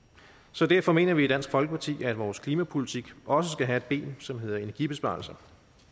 så derfor mener vi i dansk folkeparti at vores klimapolitik også skal have et ben som hedder energibesparelser